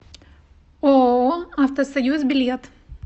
ооо автосоюз билет